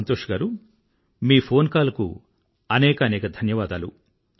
సంతోష్ గారూ మీ phone call కు అనేకానేక ధన్యవాదాలు